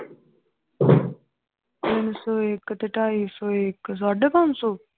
ਤਿੰਨ ਸੋ ਇਕ ਤੇ ਢਾਈ ਸੋ ਇਕ ਸਾਢੇ ਪੰਜ ਸੌ l